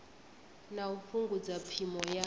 na u fhungudza phimo ya